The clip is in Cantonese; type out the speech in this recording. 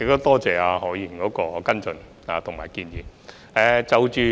多謝何議員的補充質詢和建議。